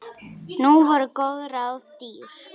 Nú voru góð ráð dýr!